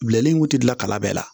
Bilen in kun tɛ dilan ka bɛɛ la